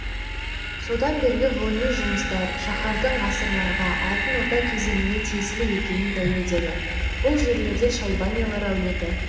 содан бергі ғылыми жұмыстар шаһардың ғасырларға алтын орда кезеңіне тиесілі екенін дәлелдеді бұл жерде шайбанилар әулеті